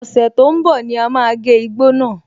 Ọ̀sẹ̀ tó ń bọ̀ ní à máa gé igbó náà.